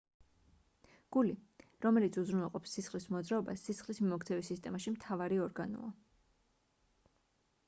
გული რომელიც უზრუნველყოფს სისხლის მოძრაობას სისხლის მიმოქცევის სისტემაში მთავარი ორგანოა